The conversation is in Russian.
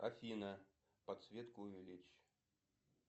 афина подсветку увеличь